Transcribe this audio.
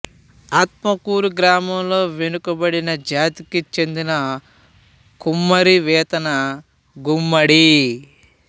ఆత్మకూరు గ్రామంలో వెనుకబడిన జాతికి చెందిన కుమ్మరి వేతన గుమ్మడి